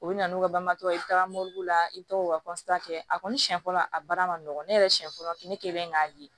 U bɛ na n'u ka bamakɔ ye i taara la i bɛ taa u ka kɛ a kɔni siɲɛ fɔlɔ a baara nɔgɔn ne yɛrɛ siɲɛ fɔlɔ fini ne kelen k'a ye